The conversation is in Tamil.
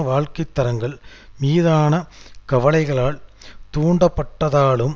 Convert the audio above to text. வாழ்க்கை தரங்கள் மீதான கவலைகளால் தூண்டப்பட்டதாலும்